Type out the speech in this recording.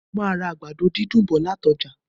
Mo màá ra àgbàdo dídùn bọ̀ lati ọ́jà